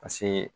Paseke